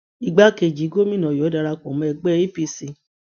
igbákejì gómìnà ọyọ darapọ mọ ẹgbẹ apc